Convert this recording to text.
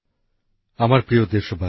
নতুনদিল্লি ২৪শে নতুনদিল্লি